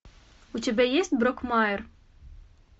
у тебя есть брокмайр